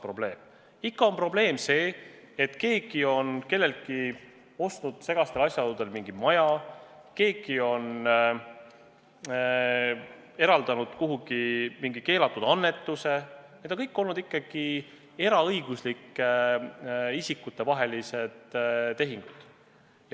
Probleem on see, et keegi on kelleltki ostnud segastel asjaoludel mingi maja, keegi on teinud kuhugi mingi keelatud annetuse – need on kõik olnud ikkagi eraõiguslike isikute vahelised tehingud.